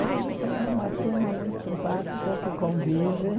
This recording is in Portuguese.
Hoje tenho uma turma muito simpática que convive.